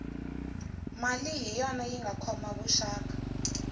mali hi yona yinga khoma vuxaka